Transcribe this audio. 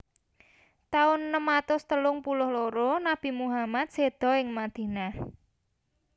Taun enem atus telung puluh loro Nabi Muhammad séda ing Madinah